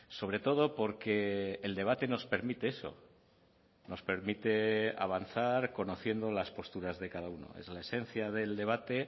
sobre todo porque el debate nos permite eso nos permite avanzar conociendo las posturas de cada uno es la esencia del debate